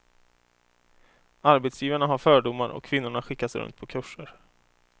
Arbetsgivarna har fördomar och kvinnorna skickas runt på kurser.